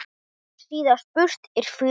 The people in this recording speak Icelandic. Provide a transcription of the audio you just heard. síðast burt er förum.